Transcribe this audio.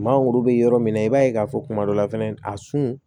Maa goro be yɔrɔ min na i b'a ye k'a fɔ kuma dɔ la fɛnɛ a sun